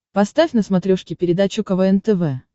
поставь на смотрешке передачу квн тв